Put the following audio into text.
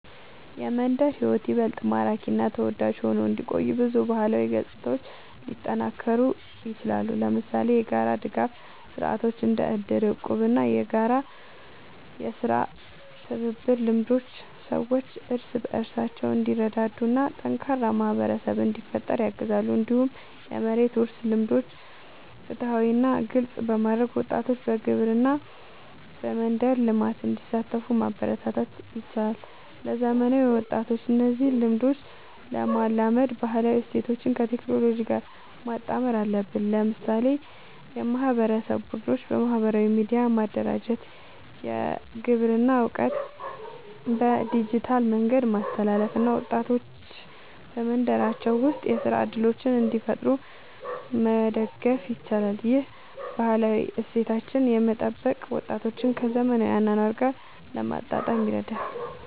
የመንደር ሕይወት ይበልጥ ማራኪ እና ተወዳጅ ሆኖ እንዲቆይ ብዙ ባህላዊ ገጽታዎች ሊጠናከሩ ይችላሉ። ለምሳሌ የጋራ ድጋፍ ስርዓቶች እንደ እድር፣ እቁብ እና የጋራ የሥራ ትብብር ልምዶች ሰዎች እርስ በርስ እንዲረዳዱ እና ጠንካራ ማህበረሰብ እንዲፈጠር ያግዛሉ። እንዲሁም የመሬት ውርስ ልምዶችን ፍትሃዊ እና ግልጽ በማድረግ ወጣቶች በግብርና እና በመንደር ልማት እንዲሳተፉ ማበረታታት ይቻላል። ለዘመናዊ ወጣቶች እነዚህን ልምዶች ለማላመድ ባህላዊ እሴቶችን ከቴክኖሎጂ ጋር ማጣመር አለብን። ለምሳሌ የማህበረሰብ ቡድኖችን በማህበራዊ ሚዲያ ማደራጀት፣ የግብርና እውቀትን በዲጂታል መንገድ ማስተላለፍ እና ወጣቶች በመንደራቸው ውስጥ የሥራ እድሎችን እንዲፈጥሩ መደገፍ ይቻላል። ይህ ባህላዊ እሴቶችን እየጠበቀ ወጣቶችን ከዘመናዊ አኗኗር ጋር ለማጣጣም ይረዳል።